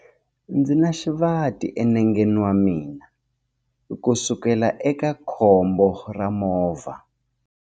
Ndzi na xivati enengeni wa mina kusukela eka khombo ra movha.